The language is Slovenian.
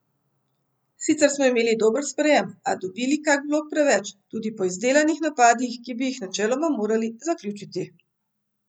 Sicer smo imeli dober sprejem, a dobili kak blok preveč, tudi po izdelanih napadih, ki bi jih načeloma morali zaključiti.